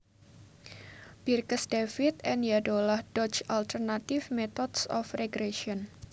Birkes David and Yadolah Dodge Alternative Methods of Regression